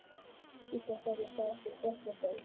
Gísli: Þannig að það er ekki svartnætti enn þá?